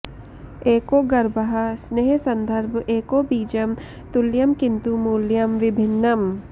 एको गर्भः स्नेहसन्दर्भ एको बीजं तुल्यं किन्तु मूल्यं विभिन्नम्